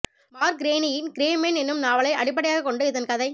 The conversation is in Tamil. மார்க் கிரேனியின் கிரே மேன் என்னும் நாவலை அடிப்படையாகக் கொண்டு இதன் கதை